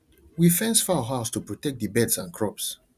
we fence fowl house to protect the birds and crops